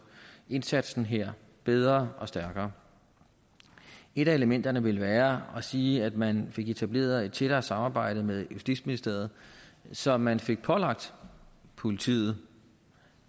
indsatsen her bedre og stærkere et af elementerne ville være at sige at man fik etableret et tættere samarbejde med justitsministeriet så man fik pålagt politiet